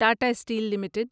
Tata steel limited